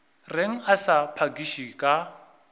reng a sa phakiše ka